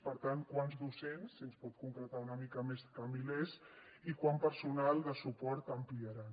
per tant quants docents si ens pot concretar una mica més que milers i quant personal de suport ampliaran